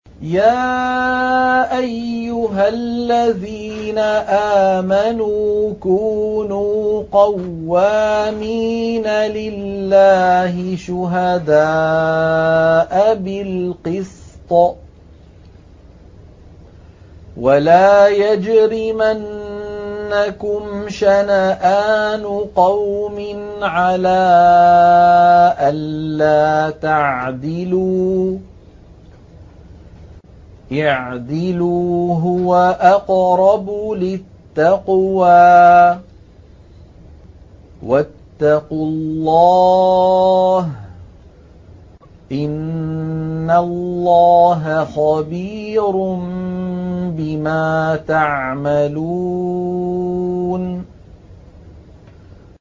يَا أَيُّهَا الَّذِينَ آمَنُوا كُونُوا قَوَّامِينَ لِلَّهِ شُهَدَاءَ بِالْقِسْطِ ۖ وَلَا يَجْرِمَنَّكُمْ شَنَآنُ قَوْمٍ عَلَىٰ أَلَّا تَعْدِلُوا ۚ اعْدِلُوا هُوَ أَقْرَبُ لِلتَّقْوَىٰ ۖ وَاتَّقُوا اللَّهَ ۚ إِنَّ اللَّهَ خَبِيرٌ بِمَا تَعْمَلُونَ